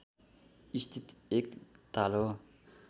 स्थित एक ताल हो